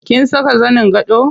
Kin saka zanin gado?